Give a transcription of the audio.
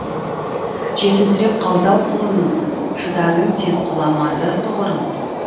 жетімсіреп қалды ау құлының шыдадың сен құламады тұғырың